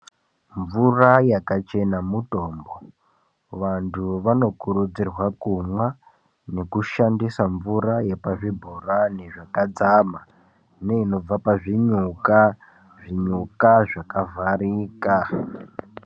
Mvura yakachena mutombo. Vanthu vanokurudzirwa kumwa nekushandisa mvura yepazvibhorani zvakadzama, neinobva pazvinyuka, zvinyuka zvakavharika.